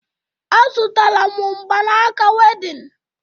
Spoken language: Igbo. Azụtara m mgbanaka wedịn